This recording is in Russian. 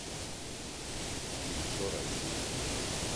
афина соран ютуб